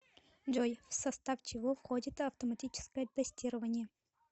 джой в состав чего входит автоматическое тестирование